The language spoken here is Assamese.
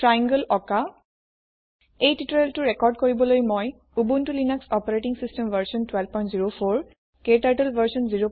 triangleত্ৰিভূজ অকা এই টিউটৰিয়েল ৰেকৰ্দ কৰিবলৈ মই উবুনটো লিনাস অচ ভাৰ্চন 1204 ক্টাৰ্টল ভাৰ্চন